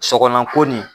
Sɔgɔlan ko nin